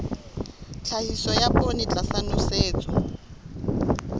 tlhahiso ya poone tlasa nosetso